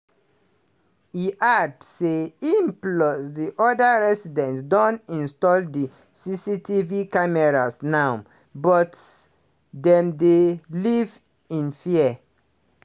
e add say im plus di oda residents don install di cctv cameras now - but dem dey live in fear.